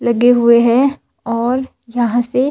लगे हुए हैं और यहां से--